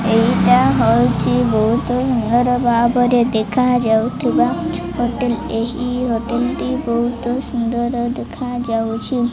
ଏଇଟା ହୋଉଚି। ବୋହୁତ ନିୟର ଭାବରେ ଦେଖା ଯାଉଥିବା ହୋଟେଲ ଏହି ହୋଟେଲ ଟି ବୋହୁତ ସୁନ୍ଦର୍ ଦେଖାଯାଉଚି।